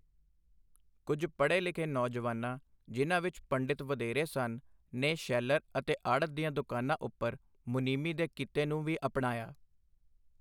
ਕੁੱਝ ਪੜ੍ਹੇ ਲਿਖੇ ਨੌਜਵਾਨਾਂ ਜਿਹਨਾਂ ਵਿੱਚ ਪੰਡਿਤ ਵਧੇਰੇ ਸਨ ਨੇ ਸੈਂਲਰ ਅਤੇ ਆੜ੍ਹਤ ਦੀਆਂ ਦੁਕਾਨਾਂ ਉਪਰ ਮੁਨੀਮੀ ਦੇ ਕਿੱਤੇ ਨੂੰ ਵੀ ਅਪਣਾਇਆ।